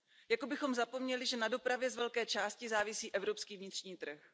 Jako bychom zapomněli, že na dopravě z velké části závisí evropský vnitřní trh.